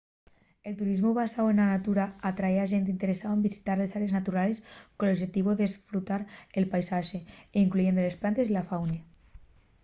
el turismu basáu na natura atrái a xente interesao en visitar les árees naturales col oxetivu d’esfrutar el paisaxe incluyendo les plantes y la fauna